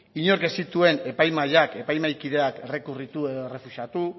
inork ez zituen epaimahaiak epaimahaikideak errekurritu edo errefusatu